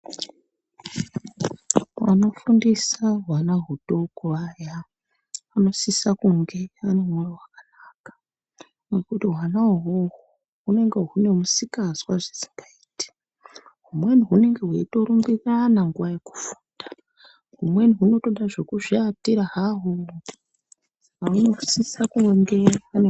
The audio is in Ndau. Vanofundisa hwana hudoko aya, anosisa kunge ane mwoyo wakanaka, nekuti hwana uhwohwo, hunenge hune misikazwa zvisingaiti. Humweni hunenge hweitorumbirirana nguwa yekufunda. Humweni hunotoda zvekuzviatira haho. Munosisa kunge....